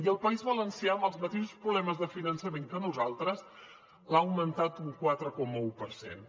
i el país valencià amb els mateixos problemes de finançament que nosaltres l’ha augmentat un quatre coma un per cent